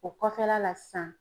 O kɔfɛla la sisan